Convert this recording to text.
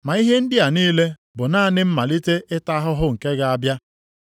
Ma ihe ndị a niile bụ naanị mmalite ịta ahụhụ nke ga-abịa.